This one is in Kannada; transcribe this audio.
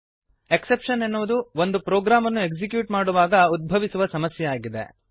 ಎಕ್ಸೆಪ್ಶನ್ ಎನ್ನುವುದು ಒಂದು ಪ್ರೋಗ್ರಾಮನ್ನು ಎಕ್ಸಿಕ್ಯೂಟ್ ಮಾಡುವಾಗ ಉದ್ಭವಿಸುವ ಸಮಸ್ಯೆಯಾಗಿದೆ